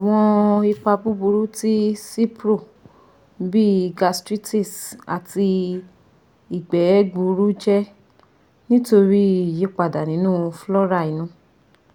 Awọn ipa buburu ti cipro bii gastritis ati igbe gbuuru jẹ nitori iyipada ninu flora inu